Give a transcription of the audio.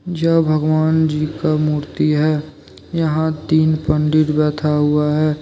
ज भगवान जी का मूर्ति है। यहां तीन पंडित बैठा हुआ है।